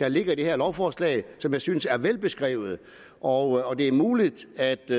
der ligger i det her lovforslag som jeg synes er velbeskrevet og det er muligt at